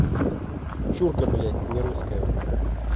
чурка блять не русская